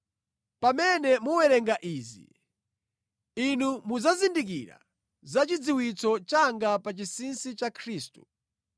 Pamene mukuwerenga izi, inu mudzazindikira za chidziwitso changa pa chinsinsi cha Khristu,